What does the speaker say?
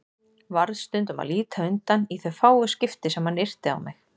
Varð stundum að líta undan í þau fáu skipti sem hann yrti á mig.